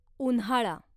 उन्हाळा